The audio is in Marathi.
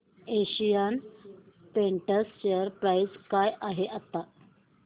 एशियन पेंट्स शेअर प्राइस काय आहे आता